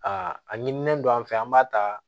A a ɲinilen don an fɛ an b'a ta